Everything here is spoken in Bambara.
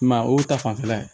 I m'a ye o ta fanfɛla ye